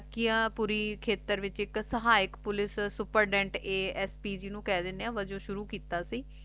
ਖੇਤਰ ਵਿਚ ਏਇਕ ਸਿਹਯਾ ਪੁਲਿਸ ਸੁਪਰਡੰਟ ਜਿਨੋ ASP ਵਾਜੂ ਸ਼੍ਰੁ ਕੀਤਾ ਸੀ